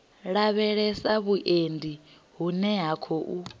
lavhelesa vhuendi vhune ha khou